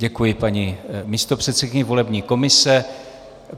Děkuji paní místopředsedkyni volební komise.